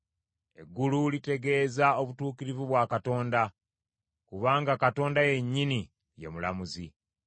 Eggulu litegeeza obutuukirivu bwa Katonda kubanga Katonda yennyini ye mulamuzi.